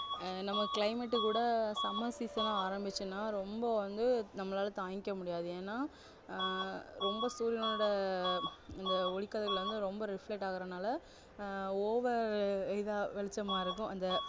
ஆஹ் நம்ம climate கூட summer season ஆ ஆரம்பிச்சுன்னா ரொம்ப வந்து நம்மளால தாங்கிக்க முடியாது ஏன்னா ஆஹ் ரொம்ப சூரியானோட இந்த ஒளிக்கதிர்வுகள் வந்து ரொம்ப reflect ஆகுறதுனால ஆஹ் over இதா வெளிச்சமா இருக்கும் அந்த